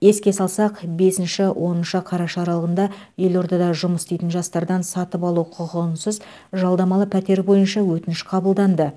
еске салсақ бесінші оныншы қараша аралығында елордада жұмыс істейтін жастардан сатып алу құқығынсыз жалдамалы пәтер бойынша өтініш қабылданды